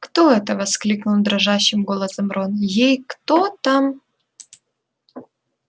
кто это воскликнул дрожащим голосом рон эй кто там